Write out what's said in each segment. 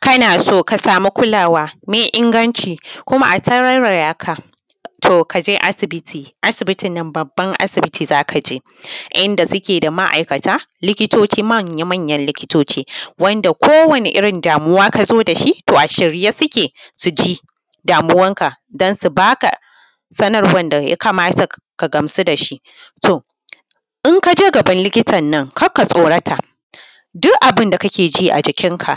Kana so ka samu kulawa mai inganci kuma a tarairaya ka, to ka je asibiti, asibitin nan babban asibiti za ka je, inda suke da ma’aikata, likitoci, manya-manyan likitoci, wanda kowane irin damuwa ka zo da shi a shirye suke su ji damuwarka don sub aka sanarwar da ya kamata ka gamsu da shi. To, in ka je gaban likitan nan kar ka tsorata, duk abin da kake ji a jikinka,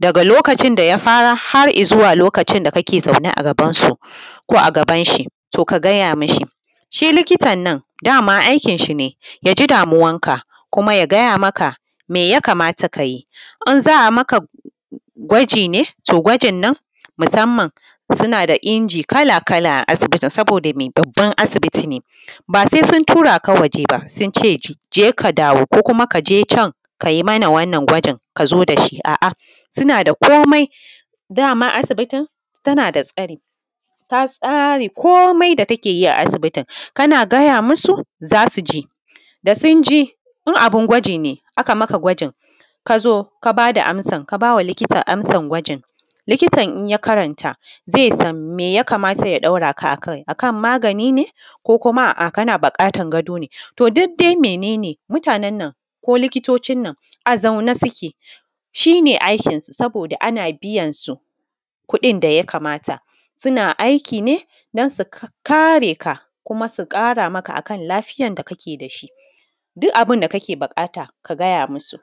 daga lokacin da ka fara har izuwa lokacin da kake zaune a gabansu ko a gaban shi, to ka gaya mashi. Shi likitan nan dama aikin shi ne ya ji damuwan ka kuma ya gaya maka me ya kamata ka yi, in za a maka gwaji ne, to gwajin nan, musamman suna da inji kala-kala a asibiti, saboda me, babban asibiti ne, ba sai sun tura ka waje ba sun ce je ka dawo ko kuma ka je can ka mana wannan gwajin ka zo da shi, a’a suna da komai. Dama asibitin tana da tsari, ta tsare komai da take yi a asibitin, kana gaya musu za su ji, da sun ji, in abun gwaji ne, aka maka gwajin, ka zo ka ba da amsan, ka ba wa likitan amsan gwajin, likitan in ya karanta zai san me ya kamata ya ɗaura ka akai a kan magani ne ko kana buƙatan gado ne. To duk dai mene ne mutanen nan ko likitocin nan a zaune suke, shi ne aikin su, abode ana biyansu kuɗin da ya kamata, suna aiki ne don su kare ka kuma su ƙara maka akan lafiyan da kake da shi, duk abin da kake buƙata ka gaya musu.